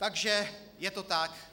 Takže je to tak.